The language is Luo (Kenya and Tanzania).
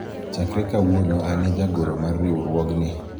chakre kawuono an e jagoro mar riwruogni